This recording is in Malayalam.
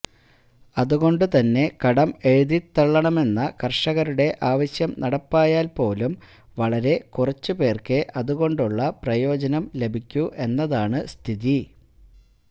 അതുകൊണ്ടുതന്നെ കടം എഴുതിത്ത്ത്തള്ളണമെന്ന കർഷകരുടെ ആവശ്യം നടപ്പായാൽ പോലും വളരെ കുറച്ച് പേർക്കേ അതുകൊണ്ടുള്ള പ്രയോജനം ലഭിക്കൂ എന്നതാണ് സ്ഥിതി